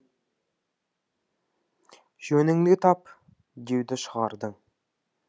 жөніңді тап деуді шығардың